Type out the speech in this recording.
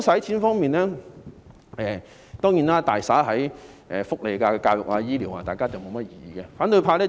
政府將撥款大灑在社會福利、教育和醫療方面，大家不會有任何異議。